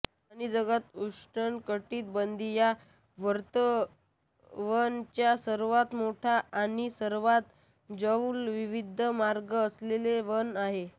आणि जगात उष्णकटिबंधीय वर्षावनच्या सर्वात मोठा आणि सर्वात जैवविविध मार्ग असलेले वन आहे